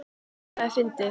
Það er fyndið.